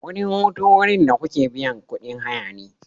Wurin hutu wurin da kuke biyan kuɗin hayane.